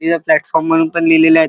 इथ प्लॅटफॉर्म म्हणुन पण लिहलेले आहेत.